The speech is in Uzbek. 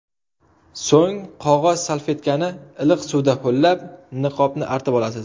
So‘ng qog‘oz salfetkani iliq suvda ho‘llab, niqobni artib olasiz.